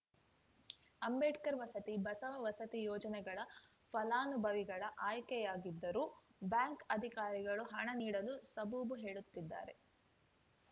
ಅಂಬೇಡ್ಕರ್‌ ವಸತಿ ಬಸವ ವಸತಿ ಯೋಜನೆಗಳ ಫಲಾನುವಿಗಳ ಆಯ್ಕೆಯಾಗಿದ್ದರೂ ಬ್ಯಾಂಕ್‌ ಅಧಿಕಾರಿಗಳು ಹಣ ನೀಡಲು ಸಬೂಬು ಹೇಳುತ್ತಿದ್ದಾರೆ